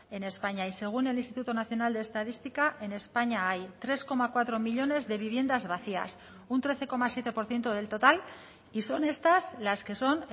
en españa y según el instituto nacional de estadística en españa hay tres coma cuatro millónes de viviendas vacías un trece coma siete por ciento del total y son estas las que son